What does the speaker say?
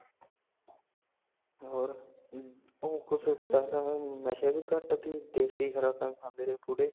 ਹੋਰ ਉਹ ਕੋਸ਼ ਪਹਿਲਾ ਨਸ਼ੇ ਵੀ ਘਾਟ ਤੀ ਦੇਸੀ ਖੁਰਾਕਾਂ ਖਾਂਦੇ ਰਹੇ ਬੁੱਡੇ